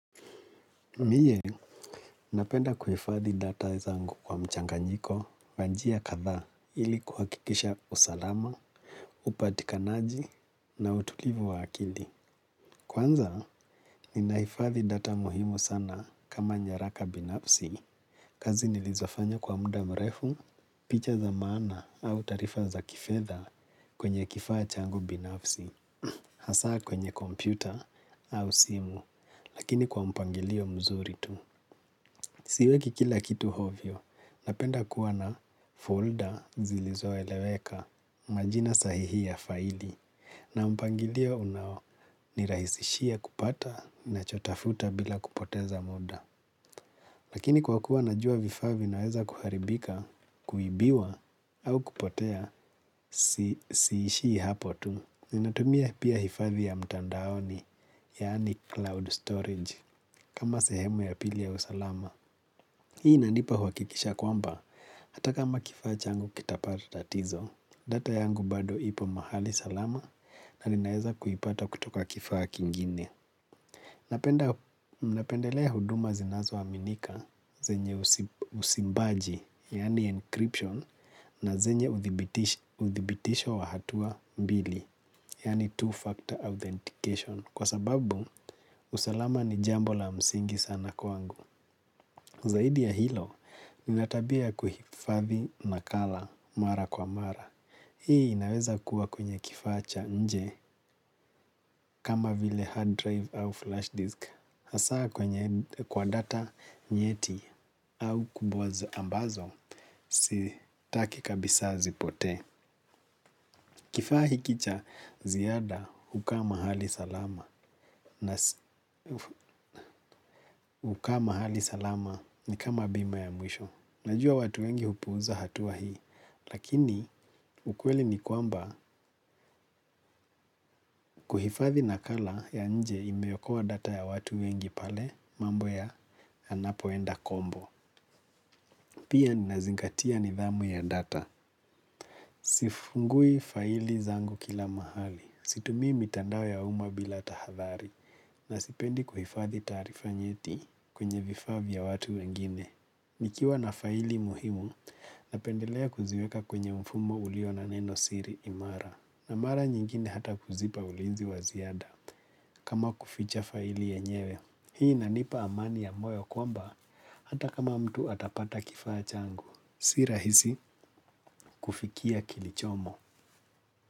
Mie, napenda kuhifadhi data zangu kwa mchanganyiko, wa njia kadhaa ili kuhakikisha usalama, upatikanaji na utulivu wa akili. Kwanza, ninahifadhi data muhimu sana kama nyaraka binafsi, kazi nilizofanya kwa muda mrefu, picha za maana au taarifa za kifedha kwenye kifaa changu binafsi, hasa kwenye kompyuta au simu, lakini kwa mpangilio mzuri tu. Siweki kila kitu hovyo, napenda kuwa na folder zilizoeleweka majina sahihi ya faili, na mpangilio unaonirahisishia kupata nachotafuta bila kupoteza muda. Lakini kwa kuwa najua vifaa vinaweza kuharibika, kuibiwa, au kupotea, siishii hapo tu. Ninatumia pia hifadhi ya mtandaoni, yaani cloud storage, kama sehemu ya pili ya usalama. Hii inanipa huwakikisho kwamba, hata kama kifaa changu kitapata tatizo, data yangu bado ipo mahali salama na ninaweza kuipata kutoka kifaa kingine. Napendelea huduma zinazoaminika zenye usimbaji, yani encryption, na zenye uthibitisho wa hatua mbili, yani two-factor authentication, kwa sababu usalama ni jambo la msingi sana kwangu. Zaidi ya hilo, nina tabia ya kuhifadhi nakala mara kwa mara. Hii inaweza kuwa kwenye kifaa cha nje kama vile hard drive au flash disk. Hasa kwenye kwa data nyeti au kubwazo ambazo, sitaki kabisa zipotee. Kifaa hiki cha ziada hukaa mahali salama. Hukaa mahali salama ni kama bima ya mwisho. Najua watu wengi hupuuza hatua hii. Lakini ukweli ni kwamba kuhifadhi nakala ya nje imeokoa data ya watu wengi pale mambo yanapoenda kombo. Pia ninazingatia nidhamu ya data. Sifungui faili zangu kila mahali. Situmii mitandao ya uma bila tahadhari. Na sipendi kuhifadhi taarifa nyeti kwenye vifaa ya watu wengine. Nikiwa na faili muhimu, napendelea kuziweka kwenye mfumo ulio na neno siri imara. Na mara nyingine hata kuzipa ulinzi wa ziada. Kama kuficha faili yenyewe, hii inanipa amani ya moyo kwamba hata kama mtu atapata kifaa changu. Si rahisi kufikia kilichomo.